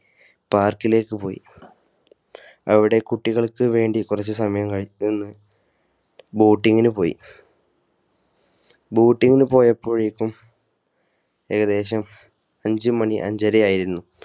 Park ലേക്ക് പോയി അവിടെ കുട്ടികൾക്കുവേണ്ടി കുറച്ച് സമയം നിന്നു Boat ങ്ങിനു പോയി Boat ങ്ങിനു പോയപ്പോഴേക്കുംഏകദേശം അഞ്ചു മണി അഞ്ചരയായിരുന്നു